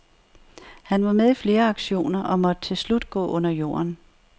Han var med i flere aktioner og måtte til slut gå under jorden.